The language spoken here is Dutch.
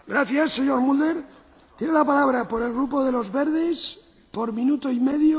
Voorzitter, wat de laatste opmerking van de heer Mulder betreft, ik sluit mij daarbij aan, mijnheer Caldeira.